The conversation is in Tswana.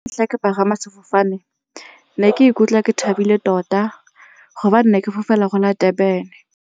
Ke pagama sefofane ke ne ke ikutlwa ke thabile tota gobane ne ke fofela Durban-e.